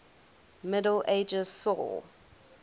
middle ages saw